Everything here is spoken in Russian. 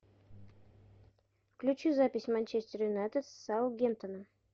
включи запись манчестер юнайтед с саутгемптоном